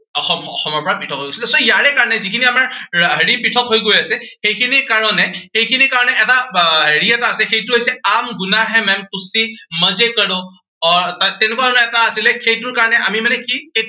অসম অসমৰ পৰা পৃথক হৈ গৈছিলে। so ইয়াৰে কাৰনে যিখিনি আমাৰ হেৰি পৃথক হৈ গৈ আছে। সেইখিনি কাৰনে সেইখিনিৰ কাৰনে, আহ হেৰি এটা আছে, সেইটো হৈছে কৰো আহ তেনেকুৱা ধৰণৰ এটা আছিলে সেইটোৰ কাৰনে আমি মানে কি